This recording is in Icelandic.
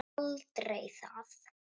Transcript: Aldrei það.